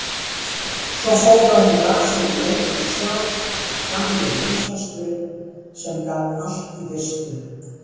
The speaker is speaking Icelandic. Svo fór að hún las ekki lengur sjálf, gamli námshesturinn sem gat allt í fyrstu.